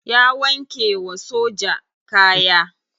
Ya wanke wa soja kaya.